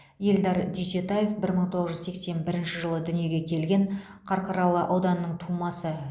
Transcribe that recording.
эльдар дүйсетаев бір мың тоғыз жүз сексен бірінші жылы дүниеге келген қарқаралы ауданының тумасы